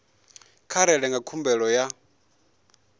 vha rere nga khumbelo ya